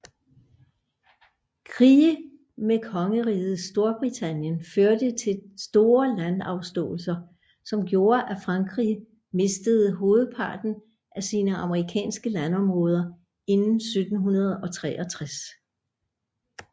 Krige med Kongeriget Storbritannien førte til store landafståelser som gjorde at Frankrige mistede hovedparten af sine amerikanske landområder inden 1763